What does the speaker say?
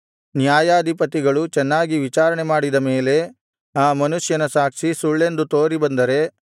ನ್ಯಾಯಾಧಿಪತಿಗಳು ಚೆನ್ನಾಗಿ ವಿಚಾರಣೆ ಮಾಡಿದ ಮೇಲೆ ಆ ಮನುಷ್ಯನ ಸಾಕ್ಷಿ ಸುಳ್ಳೆಂದು ತೋರಿಬಂದರೆ